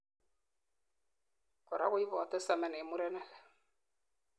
korak koibotei semen en murenik